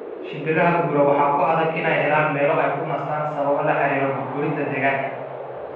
Shimbiraha guura waxaa ku adag inay helaan meelo ay ku nastaan sabab la xiriirta burburinta deegaanka.